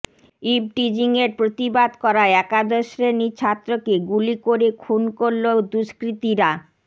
ইভটিজিংয়ের প্রতিবাদ করায় একাদশ শ্রেণীর ছাত্রকে গুলি করে খুন করল দুষ্কৃতীরা